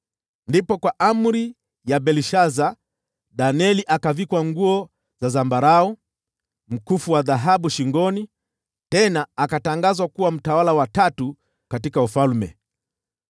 Ndipo kwa amri ya Belshaza, Danieli akavikwa nguo za zambarau na mkufu wa dhahabu shingoni, tena akatangazwa kuwa mtawala wa tatu katika ufalme.